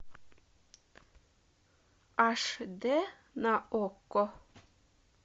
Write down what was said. аш д на окко